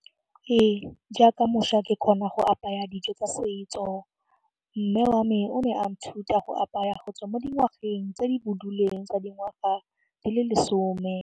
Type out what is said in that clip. Ee, jaaka mošwa ke kgona go apaya dijo tsa setso mme wa me o ne a nthuta go apaya go tswa mo dingwageng tse di boduleng tsa dingwaga di le lesome.